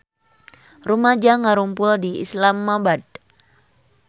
Rumaja ngarumpul di Islamabad